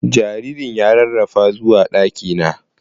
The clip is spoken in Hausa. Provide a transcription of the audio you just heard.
Jaririn ya rarafa zuwa ɗaki na.